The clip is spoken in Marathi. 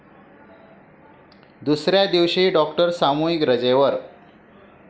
दुसऱ्या दिवशीही डॉक्टर सामूहिक रजेवर